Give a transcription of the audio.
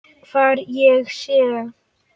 Hvar ég sé.